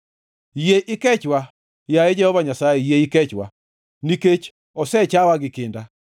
Yie ikechwa, yaye Jehova Nyasaye, yie ikechwa, nikech osechawa gi kinda.